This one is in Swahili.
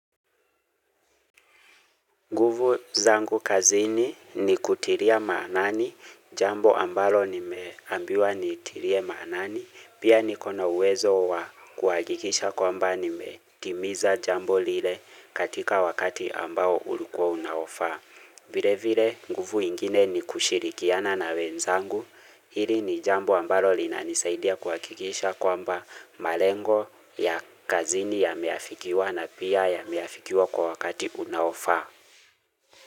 Nguvu zangu kazini ni kutiria maanani jambo ambalo nimeambiwa niitirie maanani, pia niko na uwezo wa kuhakikisha kwamba nimetimiza jambo lile katika wakati ambao ulikuwa unaofaa. Vile vile nguvu ingine ni kushirikiana na wenzangu, hili ni jambo ambalo linanisaidia kuhakikisha kwamba malengo ya kazini yameafikiwa na pia yameafikiwa kwa wakati unaofaa.